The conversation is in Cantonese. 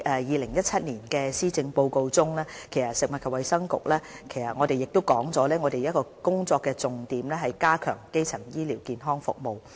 2017年施政報告指出，食物及衞生局的其中一個工作重點，是加強基層醫療服務。